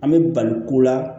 An bɛ bali ko la